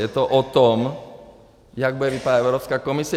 Je to o tom, jak bude vypadat Evropská komise.